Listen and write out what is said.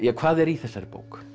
hvað er í þessari bók